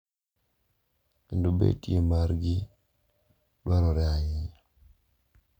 Kendo betie margi dwarore ahinya.